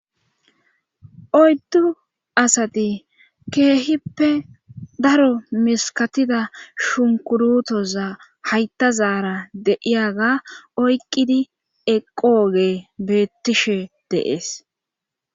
Oyddu asati keehippe daro miskkatida shunkkurootoza hayttazaara de7iyaga oyqqidi eqqoogey beettishe de7ees